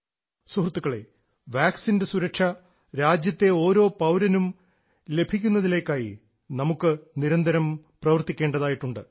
സുഹൃത്തുക്കളേ വാക്സിൻറെ സുരക്ഷ രാജ്യത്തെ ഓരോ പൌരനും ലഭിക്കുന്നതിലേക്കായി നമുക്ക് നിരന്തരം പ്രവർത്തിക്കേണ്ടതായിട്ടുണ്ട്